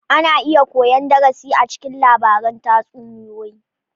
Ana iya koyan darasi a cikin labaran tatsuniyoyi.